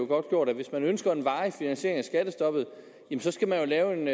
godtgjort at hvis man ønsker en varig finansiering af skattestoppet skal der laves en